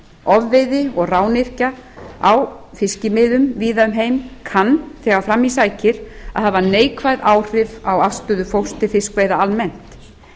ofveiði og rányrkja á fiskimiðum víða um heim kann þegar fram í sækir að hafa neikvæð áhrif á afstöðu fólks til fiskveiða almennt